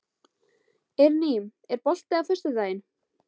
Eirný, er bolti á föstudaginn?